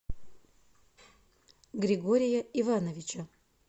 григория ивановича